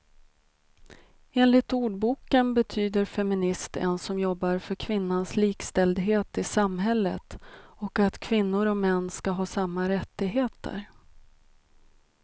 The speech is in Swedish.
Enligt ordboken betyder feminist en som jobbar för kvinnans likställdhet i samhället och att kvinnor och män ska ha samma rättigheter.